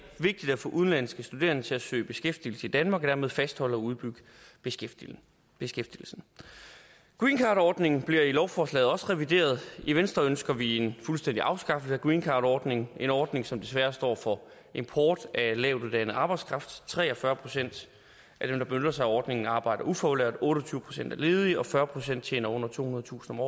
vigtigt at få udenlandske studerende til at søge beskæftigelse i danmark og dermed fastholde og udbygge beskæftigelsen beskæftigelsen greencardordningen bliver i lovforslaget også revideret i venstre ønsker vi en fuldstændig afskaffelse af greencardordningen en ordning som desværre står for import af lavtuddannet arbejdskraft tre og fyrre procent af dem der benytter sig af ordningen arbejder ufaglært otte og tyve procent er ledige og fyrre procent tjener under tohundredetusind